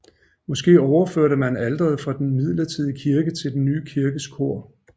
Måske overførte man alteret fra den midlertidige kirke til den nye kirkes kor